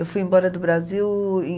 Eu fui embora do Brasil em